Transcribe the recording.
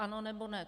Ano, nebo ne?